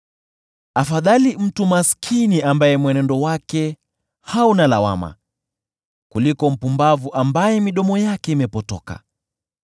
Afadhali mtu maskini ambaye mwenendo wake hauna lawama, kuliko mpumbavu ambaye midomo yake imepotoka.